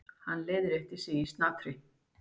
Hann leiðrétti sig í snatri.